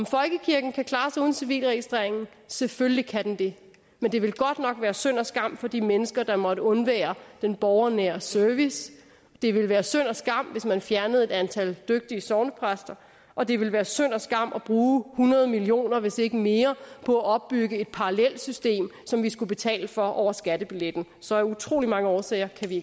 folkekirken klare sig uden civilregistreringen selvfølgelig kan den det men det ville godt nok være synd og skam for de mennesker der måtte undvære den borgernære service det ville være synd og skam hvis man fjernede et antal dygtige sognepræster og det ville være synd og skam at bruge hundrede million kr hvis ikke mere på at opbygge et parallelt system som vi skulle betale for over skattebilletten så af utrolig mange årsager kan vi